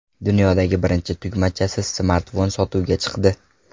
Dunyodagi birinchi tugmachasiz smartfon sotuvga chiqdi.